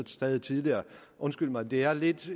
stadig tidligere undskyld mig det er et lidt